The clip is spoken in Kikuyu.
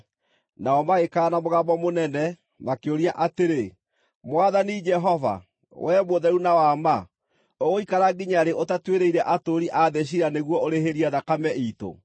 Nao magĩkaya na mũgambo mũnene, makĩũria atĩrĩ, “Mwathani Jehova, Wee mũtheru na wa ma, ũgũikara nginya rĩ ũtatuĩrĩire atũũri a thĩ ciira nĩguo ũrĩhĩrie thakame iitũ?”